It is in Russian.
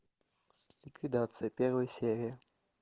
ликвидация первая серия